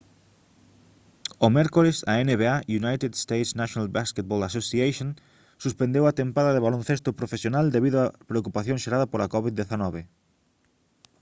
o mércores a nba united states' national basketball association suspendeu a tempada de baloncesto profesional debido á preocupación xerada pola covid-19